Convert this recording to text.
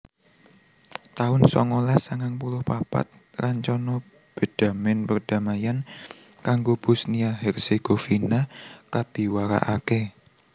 taun songolas sangang puluh papat Rancana bedhamèn perdamaian kanggo Bosnia Herzegovina kabiwarakaké